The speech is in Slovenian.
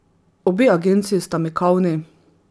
Obe agenciji sta mikavni.